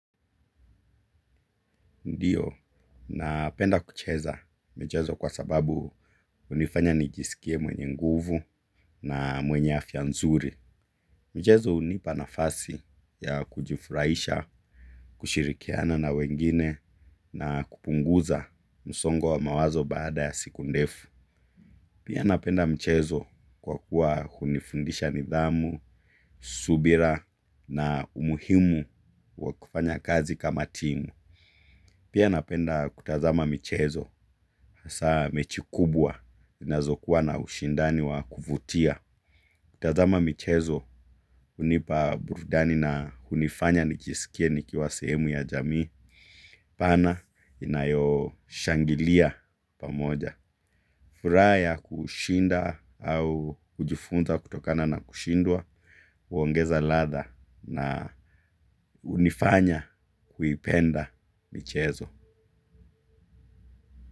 Ndio, napenda kucheza michezo kwa sababu hunifanya nijisikie mwenye nguvu na mwenye afya nzuri. Michezo hunipa nafasi ya kujifurahisha, kushirikiana na wengine na kupunguza msongo wa mawazo baada ya siku ndefu. Pia napenda michezo kwa kuwa hunifundisha nidhamu, subira na umuhimu wa kufanya kazi kama timu. Pia napenda kutazama michezo, hasaa mechi kubwa, zinazokuwa na ushindani wa kuvutia. Kutazama michezo, hunipa burudani na hunifanya nijisikie nikiwa sehemu ya jamii pana inayoshangilia pamoja. Furaha ya kushinda au kujifunza kutokana na kushindwa huongeza ladha na hunifanya kuipenda michezo.